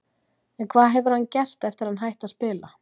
En hvað hefur hann gert eftir að hann hætti að spila?